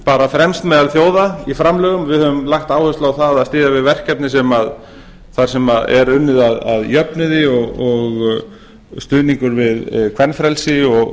bara fremst meðal þjóða í framlögum við höfum lagt áherslu á að styðja við verkefni þar sem er unnið að jöfnuði og stuðningur við kvenfrelsi